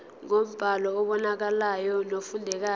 ngombhalo obonakalayo nofundekayo